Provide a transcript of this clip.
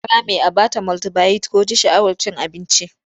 Ta rame a ba ta multibayit ko ji sha'awar cin abinci.